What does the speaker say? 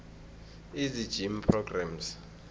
easy gym programs